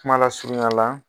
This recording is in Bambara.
Kuma lasurunya la.